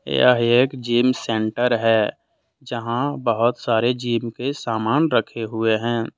यह एक gym centre है यहां बहुत सारे जिम के सामान रखें हुए हैं।